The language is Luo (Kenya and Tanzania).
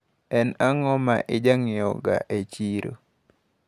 En ang`o maijanyiewoga e chiro?